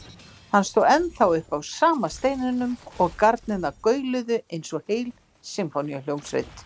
Hann stóð ennþá uppi á sama steininum og garnirnar gauluðu eins og heil sinfóníuhljómsveit.